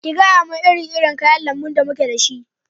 Ki gayamun iri irin kayan lambu da muke da shi!